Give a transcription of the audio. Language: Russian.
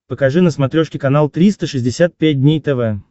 покажи на смотрешке канал триста шестьдесят пять дней тв